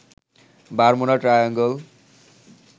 Bermuda triangle